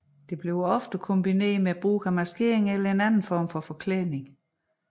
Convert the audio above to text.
Ofte kombineret med brug af maskering eller anden form for forklædning